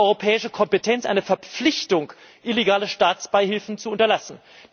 Seine europäische Kompetenz ist eine Verpflichtung, illegale Staatsbeihilfen zu unterlassen.